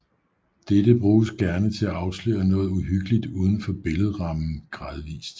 Dette bruges gerne til at afsløre noget uhyggeligt uden for billedrammen gradvist